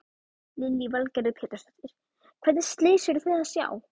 Lillý Valgerður Pétursdóttir: Hvernig slys eruð þið að sjá?